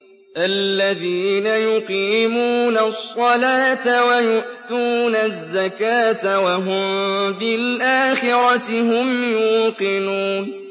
الَّذِينَ يُقِيمُونَ الصَّلَاةَ وَيُؤْتُونَ الزَّكَاةَ وَهُم بِالْآخِرَةِ هُمْ يُوقِنُونَ